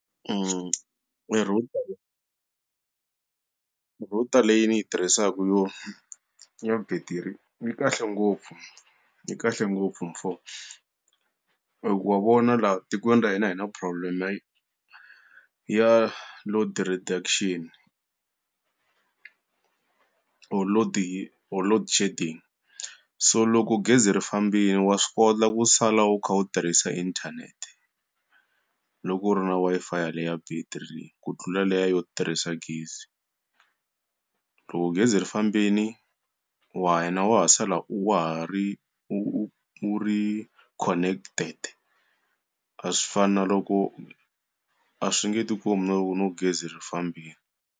router router leyi ni yi tirhisaka yo ya betiri yi kahle ngopfu, yi kahle ngopfu he mfo. Hikuva wa vona laha tikweni ra hina hi na problem-e ya load reduction or load or load shedding. So loko gezi ri fambile wa swi kota ku sala u kha u tirhisa inthanete, loko u ri na Wi-Fi ya le ya battery ku tlula liya yo tirhisa gezi. Loko gezi ri fambile wa wa ha sala u wa ha ri u u u ri connected. A swi fani na loko a swi nge ti kombi na loko no gezi ri fambile.